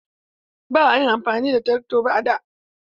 Ba a yi amfani da trakto ba a da.